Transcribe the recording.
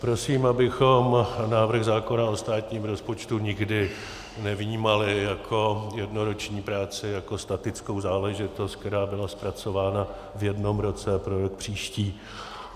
Prosím, abychom návrh zákona o státním rozpočtu nikdy nevnímali jako jednoroční práci, jako statickou záležitost, která byla zpracována v jednom roce pro rok příští.